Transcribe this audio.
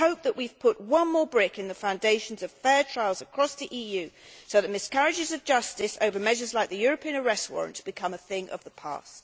I hope that we have put one more brick in the foundations of fair trials across the EU so that miscarriages of justice over measures like the European Arrest Warrants will become a thing of the past.